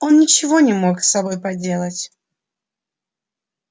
он ничего не мог с собой поделать